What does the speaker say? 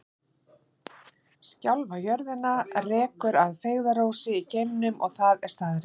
Sjálfa jörðina rekur að feigðarósi í geimnum og það er staðreynd.